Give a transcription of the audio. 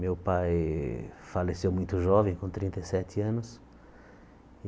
Meu pai faleceu muito jovem, com trinta e sete anos.